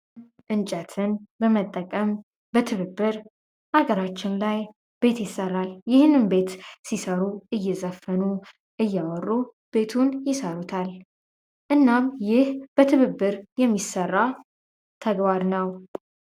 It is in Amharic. እንጨትን በመጠቀም በትብብር አገራችን ላይ ቤት ይሰራል ይህንን ቤት ሲሰሩ እየዘፈኑ እያወሩ ቤቱን ይሰሩታል እናም ይህ በትብብር የሚሠራ ተግባር ነው